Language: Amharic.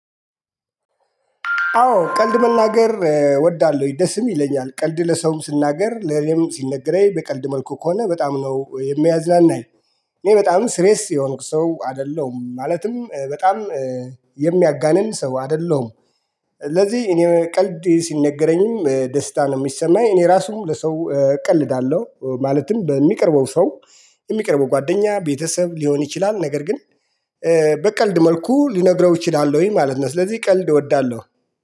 አዎ ቀልድ መናገር እወዳለሁ ደስም ይለኛል ቀልድ ለሰውም ስናገር ለኔም ሲነገረኝ በቀልድ መልኩ ከሆነ በጣም ነው የሚያዝናናኝ። እኔ በጣም ስሬስ የሆንኩ ሰው አይደለሁም ማለትም በጣም የሚያጋንን ሰው አይደለሁም። ለዚህ እኔ ቀልድ ሲነገረኝም ደስታ ነው ሚሰማኝ እኔ ራሱ ለሰው እቀልዳለሁ ማለትም በሚቀርበው ሰው። የሚቀርበው ጓደኛ ቤተሰብ ሊሆን ይችላል ነገር ግን በቀልድ መልኩ ልነግረው እችላለሁ ማለት ነው። ስለዚህ ቀልድ እወዳለሁ።